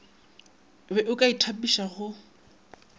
be o ka itapiša go